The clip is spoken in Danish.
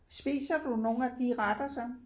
Spiser du nogle af de retter så